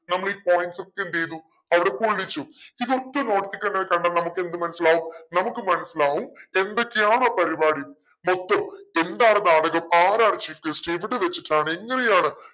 നമ്മൾ ഈ points ഒക്കെ എന്തെയ്തു അവിടെ കൊള്ളിച്ചു ഇതൊക്കെ notice ഇ കണ്ട കണ്ട നമ്മുക്ക് എന്ത് മനസിലാവും നമുക്ക് മനസിലാവും എന്തൊക്കെയാണ് പരിപാടി മൊത്തം എന്താണ് ആരാണ് chief guest എവിടെ വെച്ചിട്ടാണ് എങ്ങനെയാണ്